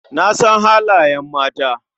Na san halayen mata.